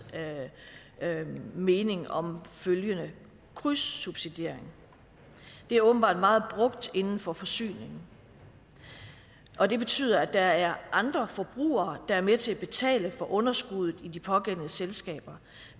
mening om krydssubsidiering det er åbenbart meget brugt inden for forsyning og det betyder at der er andre forbrugere der er med til at betale for underskuddet i de pågældende selskaber